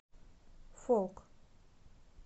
фолк